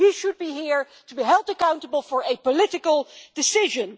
He should be here to be held accountable for a political decision.